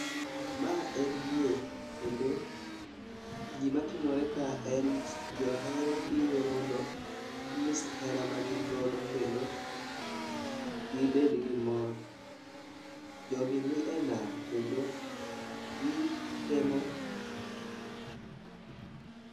Ma en yie kendo gima timore ka en johera biro mondo ging'is hera magin godo kendo gibed gi mor. Jogi ni e nam kendo gi temo